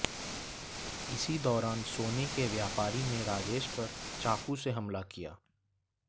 इसी दौरान सोने के व्यापारी ने राजेश पर चाकु से हमला किया